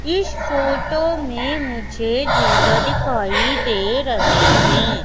इस फोटो में मुझे झूला दिखाई दे रहे हैं।